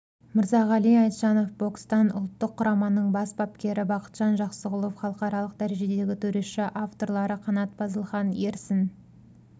мырзағали айтжанов бокстан ұлттық құраманың бас бапкері бақытжан жақсығұлов халықаралық дәрежедегі төреші авторлары қанат базылхан ерсін